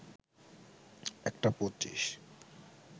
১টা ২৫